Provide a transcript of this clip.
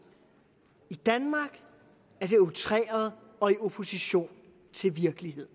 i danmark er det outreret og i opposition til virkeligheden